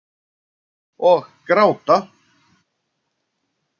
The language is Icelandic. Og gráta.